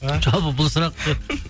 жалпы бұл сұрақ